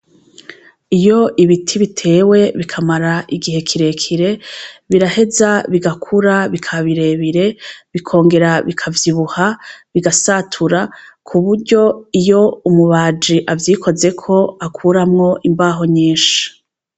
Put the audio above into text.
Iyo ibiti bitewe bikamara igihe kirekire biraheza bigakura bikabirebire bikongera bikavyibuha bigasatura ku buryo iyo umubaji avyikozeko akuramwo imbaho nyinshi.